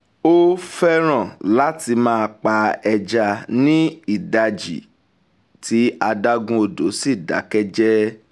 ó fẹ́ràn láti máa pa ẹja ní ìdajì tí adágún odò sì dákẹ́jẹ́